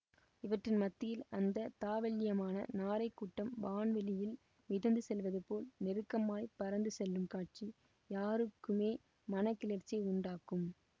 இவற்றின் மத்தியில் அந்த தாவள்யமான நாரைக் கூட்டம் வானவெளியில் மிதந்து செல்வதுபோல் நெருக்கமாய்ப் பறந்து செல்லும் காட்சி யாருக்குமே மன கிளர்ச்சி உண்டாக்கும்